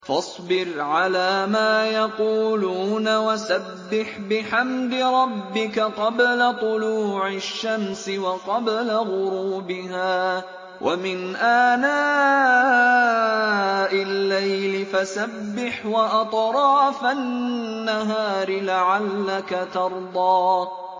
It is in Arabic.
فَاصْبِرْ عَلَىٰ مَا يَقُولُونَ وَسَبِّحْ بِحَمْدِ رَبِّكَ قَبْلَ طُلُوعِ الشَّمْسِ وَقَبْلَ غُرُوبِهَا ۖ وَمِنْ آنَاءِ اللَّيْلِ فَسَبِّحْ وَأَطْرَافَ النَّهَارِ لَعَلَّكَ تَرْضَىٰ